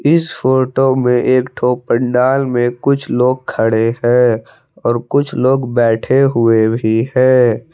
इस फोटो में एक ठो पंडाल में कुछ लोग खड़े है और कुछ लोग बैठे हुए भी हैं।